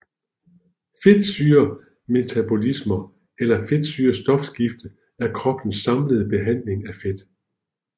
Fedtsyremetabolisme eller fedtsyrestofskiftet er kroppens samlede behandling af fedt